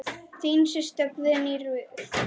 Þín systa, Guðný Ruth.